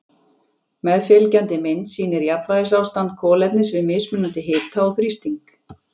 Meðfylgjandi mynd sýnir jafnvægisástand kolefnis við mismunandi hita og þrýsting.